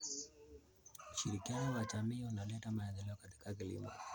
Ushirikiano wa jamii unaleta maendeleo katika kilimo.